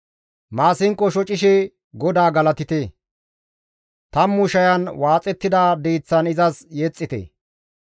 Maasinqo shocishe GODAA galatite; tammu shayan waaxettida diiththan izas yexxite.